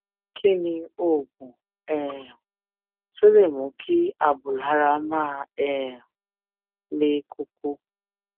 kí ni oògùn um tó lè mú kí abùlára máa um le koko